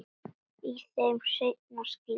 Í þeim seinni skildi leiðir.